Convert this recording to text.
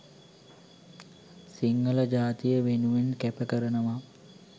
සිංහල ජාතිය වෙනුවෙන් කැප කරනවා.